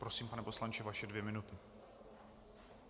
Prosím, pane poslanče, vaše dvě minuty.